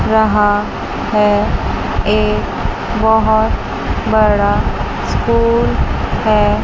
रहा है एक बहोत बड़ा स्कूल है।